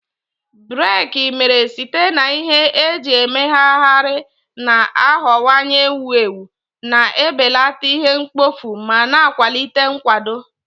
Briki mere site na ihe eji emegharịgharị na-aghọwanye ewu ewu, na-ebelata ihe mkpofu ma na-akwalite nkwado.